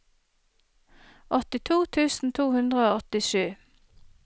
åttito tusen to hundre og åttisju